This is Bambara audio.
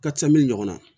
Ka ca min ɲɔgɔn na